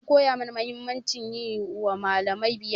An koya mana mahimmancin yi wa malami biyayya.